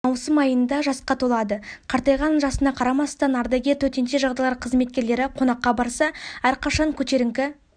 маусым айында жасқа толады қартайған жасына қарамастан ардагер төтенше жағдайлар қызметкерлері қонаққа барса әрқашан көтерінкі